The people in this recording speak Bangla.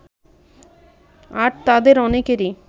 আর তাদের অনেকেরই